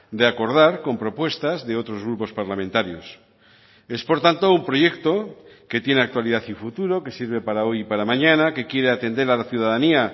de acordar con propuestas de otros grupos parlamentarios es por tanto un proyecto que tiene actualidad y futuro que sirve para hoy y para mañana que quiere atender a la ciudadanía